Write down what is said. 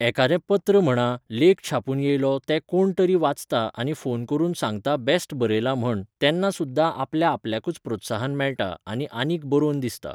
एकादें पत्र म्हणा लेख छापून येयलो ते कोण तरी वाचता आनी फोन करून सांगता बेस्ट बरयलां म्हण तेन्ना सुद्दां आपल्या आपल्याकूच प्रोत्साहन मेळटा आनी आनीक बरोवन दिसता.